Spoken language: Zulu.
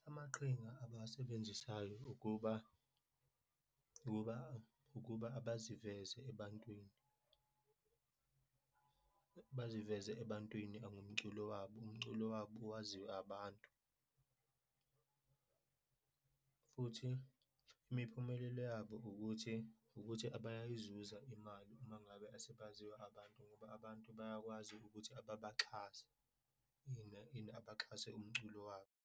Amaqhinga abawasebenzisayo ukuba, ukuba, ukuba abaziveze ebantwini, baziveze ebantwini angomculo wabo, umculo wabo waziwe abantu, futhi imiphumelelo yabo ukuthi, ukuthi bayayizuza imali uma ngabe asebaziwe abantu, ngoba abantu bayakwazi ukuthi ababaxhase, abaxhase umculo wabo.